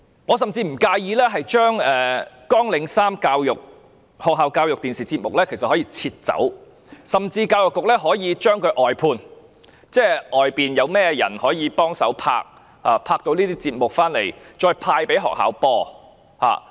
我甚至不介意將綱領3學校教育電視節目刪除，而教育局甚至可以將這些節目外判，交由坊間製作，然後派給學校播放。